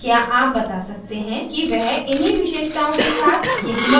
क्या आप बता सकते हैं कि वह इन्ही विशेषताओं के साथ यही मॉडल था